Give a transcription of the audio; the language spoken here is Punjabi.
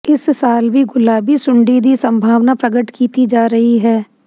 ਇਸ ਸਾਲ ਵੀ ਗੁਲਾਬੀ ਸੁੰਡੀ ਦੀ ਸੰਭਾਵਨਾ ਪ੍ਰਗਟ ਕੀਤੀ ਜਾ ਰਹੀ ਹੈ